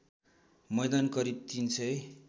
मैदान करिब ३००